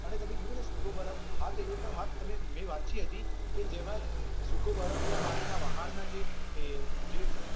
અને પછી કીધુ ને સુકો બરફ. હા તો એ પણ વાત સમીર મેં વાંચી હતી. કે જેમાં સુકો બરફ ને પાણીના વહાણના જે જે